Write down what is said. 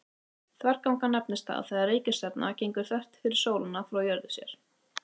þverganga nefnist það þegar reikistjarna gengur þvert fyrir sólina frá jörðu séð